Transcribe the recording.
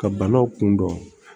Ka banaw kun dɔn